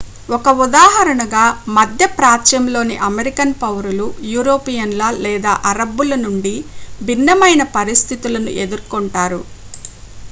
ఒక ఉదాహరణగా మధ్యప్రాచ్యంలోని అమెరికన్ పౌరులు యూరోపియన్ల లేదా అరబ్బుల నుండి భిన్నమైన పరిస్థితులను ఎదుర్కొంటారు